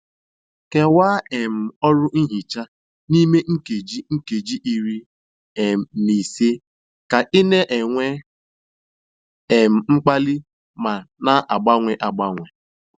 Kewaa um ọrụ nhicha n'ime nkeji nkeji iri um na ise ka ị na-enwe um mkpali ma na-agbanwe agbanwe.